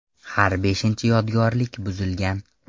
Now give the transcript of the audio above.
Har beshinchi yodgorlik buzilgan.